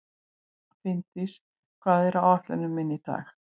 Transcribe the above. Finndís, hvað er á áætluninni minni í dag?